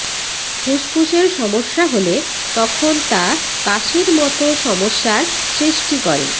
ফুসফুসের সমস্যা হলে তখন তা কাশির মত সমস্যার সৃষ্টি করে